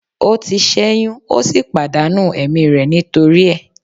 O ti ṣẹyun o si pàdánù ẹ̀mí rẹ̀ nítorí ẹ̀